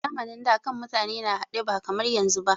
A zamanin da, kan mutane na haɗe ba kamar yanzu ba.